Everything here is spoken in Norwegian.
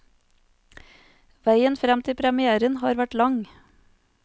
Veien frem til premièren har vært lang.